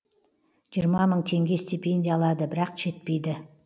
жиырма мың теңге стипендия алады бірақ жетпейді